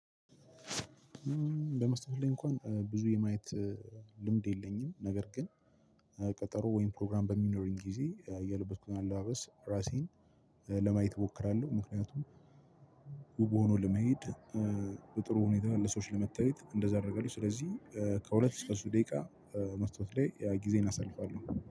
በመስመር ላይ እንኳን ብዙ የማየት ልምድ የለኝም። ነገር ግን ቀጠሮ ወይም ፕሮግራም በሚኖረኝ ጊዜ የለበስኩትን አለባበስ ራሴን ለማየት እሞክራለሁ። ምክንያቱም ውብ ሆኖ ለመሄድ በጥሩ ሁኔታ ለሰዎች ለመታየት እንደዛ አደርጋለሁ። ስለዚህ ከሁለት እስከ ሶስት ደቂቃ መስታወት ላይ ጊዜየን አሳልፋለሁ